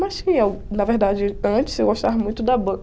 Mas tinha, na verdade, antes eu gostava muito da